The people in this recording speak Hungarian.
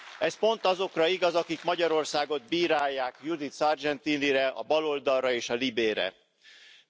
Ez pont azokra igaz, akik Magyarországot bírálják, Judith Sargentinire, a baloldalra és a LIBE bizottságra.